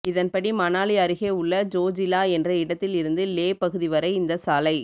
இதன்படி மணாலி அருகே உள்ள ஜோஜிலா என்ற இடத்தில் இருந்து லே பகுதி வரை இந்த சாலை